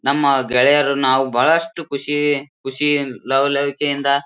ನಮ್ಮ ಗೆಳೆಯರು ನಾವು ಬಹಳಷ್ಟು ಖುಷಿ ಖುಷಿ ಲವಲವಿಕೆಯಿಂದ --